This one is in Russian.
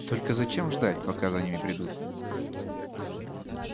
только зачем ждать пока за ними придут